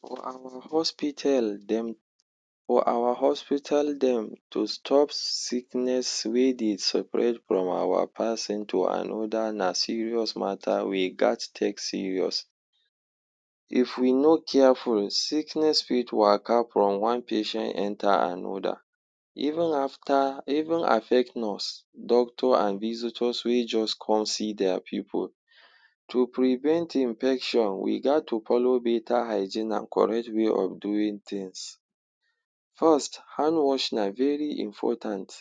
For awa hospital dem for awa hospital dem to stop sickness wey dey spread from awa pason to another na serious matter we gaz take serious, If we no careful, sickness fit waka from one patient enter another. Even after even affect nurse, doctor an visitors wey juz con see dia pipu. To prevent infection, we gaz to follow beta hygiene an correct way of doing tins. First, hand washing na very important.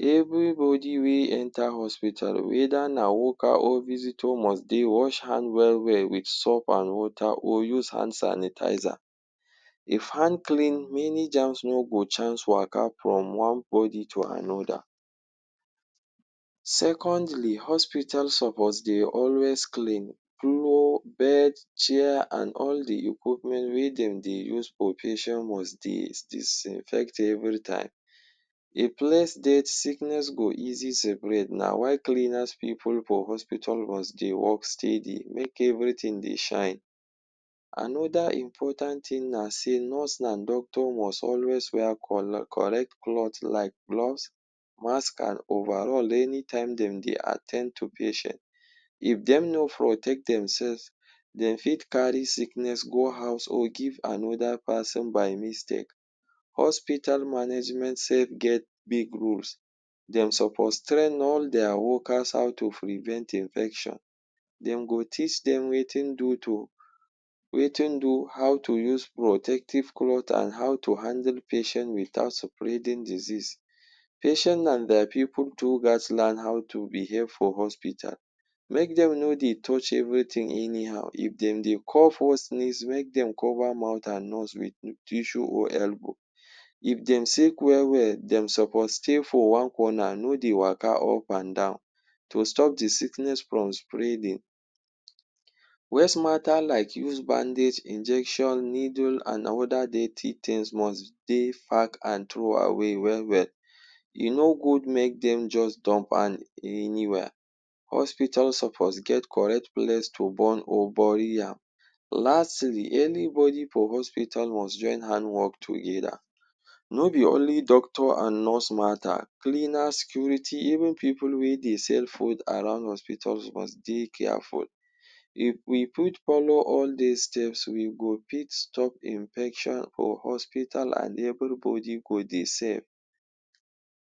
Everybody wey enter hospital whether na worker or visitor must dey wash hand well-well with soap an water or use hand sanitizer. If hand clean, many germs no go chance waka from one body to another. Secondly, hospital suppose dey always clean cloth, bed, chair an all the equipment wey dem dey use for patient must disinfect every time. A place dirt sickness go easy spread na why cleaners pipu for hospital must dey work steady make everything dey shine. Another important tin na sey nurse an doctor must always wear correct cloth like gloves, mask, an overall anytime dem dey at ten d to patient. If dem no protect themselves, dem fit carry sickness go house or give another pason by mistake. Hospital management sef get big roles. Dem suppose train all dia workers how to prevent infection. Dem go teach dem wetin do to wetin do how to use protective cloth an how to handle patient without spreading disease. Patient an dia pipu too gaz learn how to behave for hospital make dem no dey touch everything anyhow. If dem dey cough or sneeze, make dem cover mouth an nose with tissue or elbow. If dem sick well-well, dem suppose stay for one corner no dey waka up an down to stop the sickness from spreading, Waste mata like used bandage, injection, needle, an other dirty tins must dey pack an throw away well-well. E no good make dem juz dump an anywhere. Hospital suppose get correct place to burn or bury am. Lastly, anybody for hospital must join hand work together. No be only doctor an nurse matter. Cleaners, security, even pipu wey dey sell food around hospitals must dey careful. If we fit follow all dis steps, we go fit stop infection for hospital an everybody go dey safe